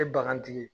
E bagantigi ye